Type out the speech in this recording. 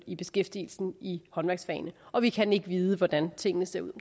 i beskæftigelsen i håndværksfagene og vi kan ikke vide hvordan tingene ser ud